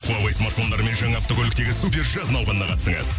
хуавей смартфондарымен жаңа автокөліктегі супер жаз науқанына қатысыңыз